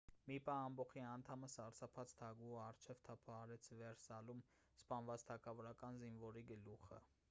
մի պահ ամբոխի անդամը սարսափած թագուհու առջև թափահարեց վերսալում սպանված թագավորական զինվորի գլուխը